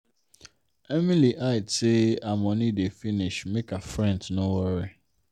emily hide say her money dey finish make her friends no worry.